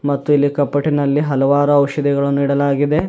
ಮತ್ತು ಇಲ್ಲಿ ಕಪಾಟಿನಲ್ಲಿ ಹಲವಾರು ಔಷಧಿಗಳನ್ನು ಇಡಲಾಗಿದೆ.